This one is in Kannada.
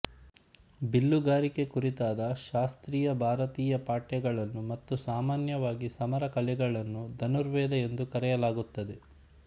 ಬಿಲ್ಲುಗಾರಿಕೆ ಕುರಿತಾದ ಶಾಸ್ತ್ರೀಯ ಭಾರತೀಯ ಪಠ್ಯಗಳನ್ನು ಮತ್ತು ಸಾಮಾನ್ಯವಾಗಿ ಸಮರ ಕಲೆಗಳನ್ನು ಧನುರ್ವೇದ ಎಂದು ಕರೆಯಲಾಗುತ್ತದೆ